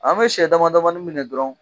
An bɛ sɛ damadamanin minɛ dɔrɔn